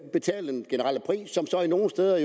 nogle steder